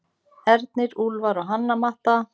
Ernir, Úlfar og Hanna Matta.